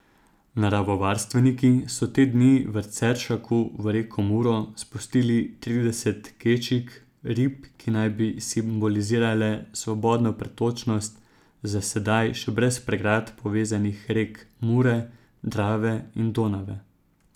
Naravovarstveniki so te dni v Ceršaku v reko Muro spustili trideset kečig, rib, ki naj bi simbolizirale svobodno pretočnost za sedaj še brez pregrad povezanih rek Mure, Drave in Donave.